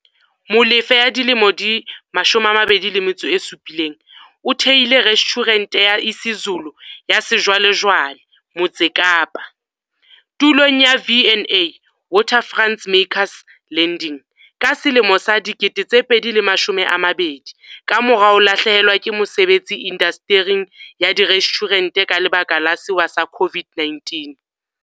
Molefe, 27, o thehile restjhurente ya isiZulu ya sejwalejwale Motse Kapa, tulong ya V andA Waterfront's Makers Landing ka selemo sa 2020, kamora ho lahlehelwa ke mosebetsi indastering ya direstjhurente ka lebaka la sewa sa COVID-19.